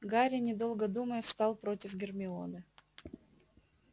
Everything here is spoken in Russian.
гарри недолго думая встал против гермионы